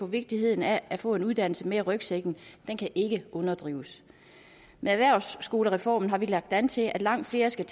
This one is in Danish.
vigtigheden af at få en uddannelse med i rygsækken ikke overdrives med erhvervsskolereformen har vi lagt an til at langt flere skal